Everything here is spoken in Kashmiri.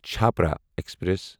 چھپرا ایکسپریس